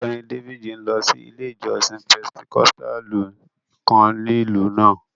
Ọgbẹ́ni Dávídì n lọ sí ilẹ̀ ìjọ̀ṣìn Pẹntẹkọ̀stàlù kàn ní ilú náà.